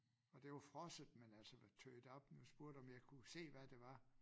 Og det var frosset med altså var tøet op og spurgte om jeg kunne se hvad det var